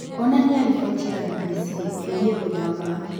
onania riboti ya b. b. c. ĩgiĩ gũthama